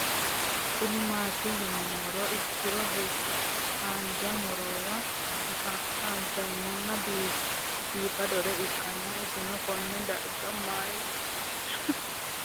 Kuni mati yinumoha ikiro hanja murowa afine'mona bifadoricho ikana isino Kone darga mayi leelanno yinumaro muuze hanannisu timantime gooranna buurtukaane